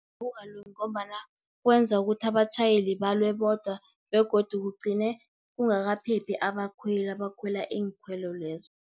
Akukalungi, ngombana kwenza ukuthi abatjhayeli balwe bodwa, begodu kugcine kungakaphephi abakhweli, abakhwela iinkhwelo lezo.